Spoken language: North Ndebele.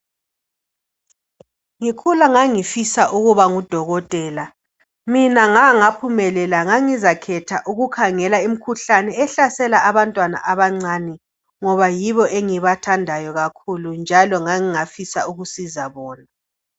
Ngikhula ngangifisa ukuba ngudokotela. Mina ngangaphumelela ,ngangizakhetha ukukhangela imikhuhlane ehlasela abantwana abancani. Ngoba yibo engibathandayo kakhulu njalo ngangingafisa ukusiza bona .